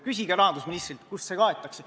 Küsige rahandusministrilt, kust see kaetakse.